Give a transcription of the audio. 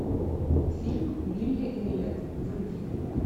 фильм билли эллиот вруби